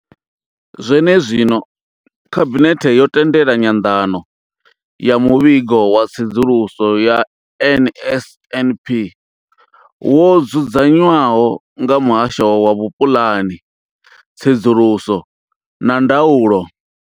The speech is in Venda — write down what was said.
Zwenezwino, Khabinethe yo tendela nyanḓano ya muvhigo wa tsedzuluso ya NSNP wo dzudzanywaho nga muhasho wa vhupulani, tsedzuluso na ndaulo.